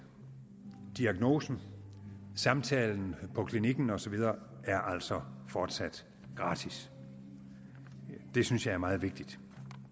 diagnosen samtalen på klinikken og så videre er altså fortsat gratis og det synes jeg er meget vigtigt